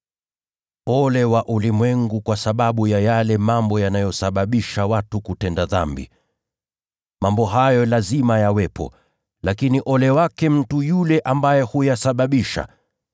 “Ole kwa ulimwengu kwa sababu ya yale mambo yanayosababisha watu kutenda dhambi! Mambo hayo lazima yawepo, lakini ole wake mtu yule ambaye huyasababisha.